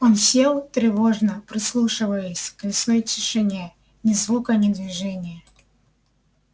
он сел тревожно прислушиваясь к лесной тишине ни звука ни движения